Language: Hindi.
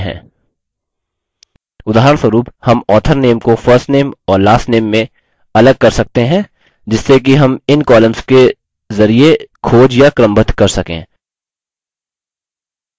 उदाहरणस्वरुप हम author name को first name और last name में अलग कर सकते हैं जिससे कि हम इन columns के जरिये खोज या क्रमबद्ध कर सकें